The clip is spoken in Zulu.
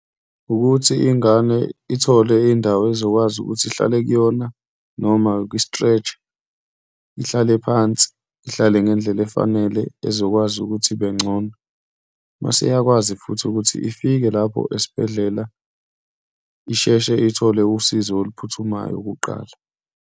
Wukuthi ingane ithole indawo ezokwazi ukuthi ihlale kuyona noma kwi-stretch-a, ihlale phansi, ihlale ngendlela efanele ezokwazi ukuthi ibengcono. Uma seyikwazi futhi ukuthi ifike lapho esibhedlela isheshe ithole usizo oluphuthumayo kuqala.